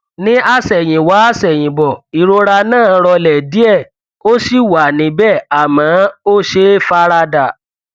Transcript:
ní àsẹyìnwá àsẹyìnbọ ìrora náà rọlẹ díẹ ó ṣì wà níbẹ àmọ ó ṣeé fara dà